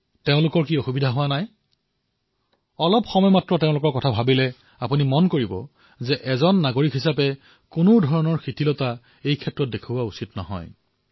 তেওঁলোকে সমস্যাৰ সন্মুখীন নহয় নে তেওঁলোককো অলপ সোঁৱৰণ কৰক আপুনিও ভাবিব যে আমি এজন নাগৰিক হিচাপে ইয়াক উলাই কৰাটো উচিত নহয় অথবা আনকো কৰিবলৈ দিয়াটো উচিত নহয়